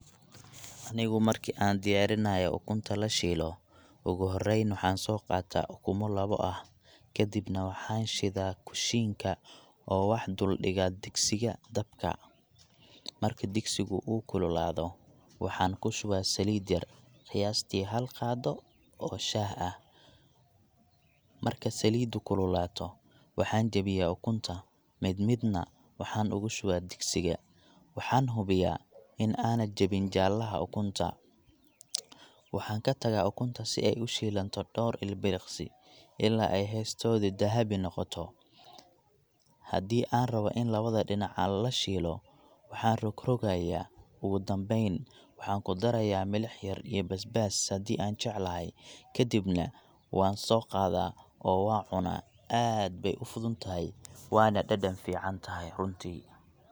Anigu marki aan diyaarinayo ukunta la shiilo, ugu horreyn waxaan soo qaataa ukumo labo ah. Kadibna waxaan shiddaa kushiinka oo wax dul dhigaa digsiga dabka. Marka digsigu uu kululaado, waxaan ku shubaa saliid yar—qiyaastii hal qaado oo shaah ah. Marka saliiddu kululaato, waxaan jabiyaa ukunta, mid midna waxaan ugu shubaa digsiga. Waxaan hubiyaa in aana jebin jaallaha ukunta. Waxaan ka tagaa ukunta si ay u shiilanto dhowr ilbiriqsi, ilaa ay hoosteedu dahabi noqoto. Haddii aan rabo in labada dhinac aan la shiilo, waxaan rogrogayaa. Ugu dambeyn, waxaan ku darayaa milix yar iyo basbaas haddii aan jeclahay, kadibna waan soo qaadaa oo waan cunaa. Aad bay u fududahay, waana dhadhan fiican tahay runtii.